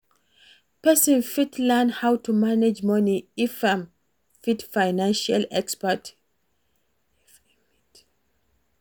person fit learn how to manage money if im meet financial expert